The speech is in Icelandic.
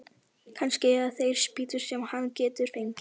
Kannski eiga þeir spýtur sem hann getur fengið.